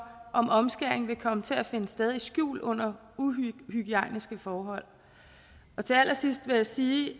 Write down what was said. om omskæring vil komme til at finde sted i det skjulte under uhygiejniske forhold til allersidst vil jeg sige at